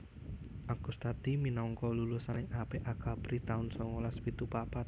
Agustadi minangka lulusan paling apik Akabri taun songolas pitu papat